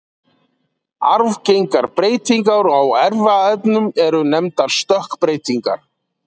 arfgengar breytingar á erfðaefninu eru nefndar stökkbreytingar